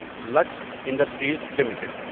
looks Industries limited